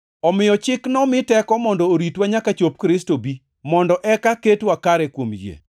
Omiyo Chik nomi teko mondo oritwa nyaka chop Kristo bi, mondo eka ketwa kare kuom yie.